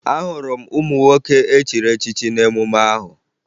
Ahụrụ m ụmụ nwoke echiri echichi n'emume ahụ